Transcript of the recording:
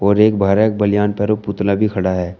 और एक बाहर एक बलियान पर पुतला भी खड़ा है।